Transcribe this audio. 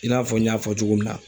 I n'a fɔ n y'a fɔ cogo min na.